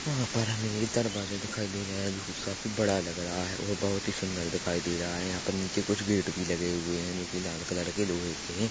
यहाँ पर हमे एक दरवाजा दिखाई दे रहा है जो काफ़ी बड़ा लग रहा है और बहुत ही सुंदर दिखाई दे रहा है यहाँ पर नीचे कुछ गेट भी लगे हुए हैं जो की लाल कलर के लोहे के है।